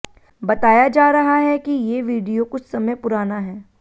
बताया जा रहा है कि ये वीडियो कुछ समय पुराना है